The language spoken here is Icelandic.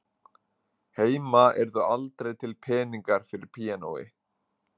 Heima yrðu aldrei til peningar fyrir píanói